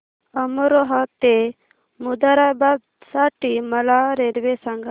अमरोहा ते मुरादाबाद साठी मला रेल्वे सांगा